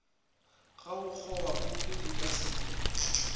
ga bokgobapuku di ka se